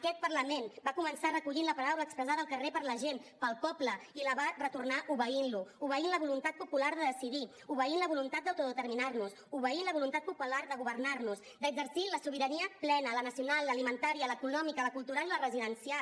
aquest parlament va començar recollint la paraula expressada al carrer per la gent pel poble i la va retornar obeint lo obeint la voluntat popular de decidir obeint la voluntat popular d’autodeterminar nos obeint la voluntat popular de governar nos d’exercir la sobirania plena la nacional l’alimentària l’econòmica la cultural i la residencial